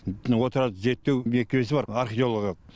отырарды зерттеу мекемесі бар археологиялық